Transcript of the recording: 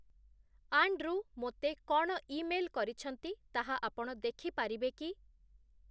Andrew ମୋତେ କ’ଣ email କରିଛନ୍ତି ତାହା ଆପଣ ଦେଖିପାରିବେ କି?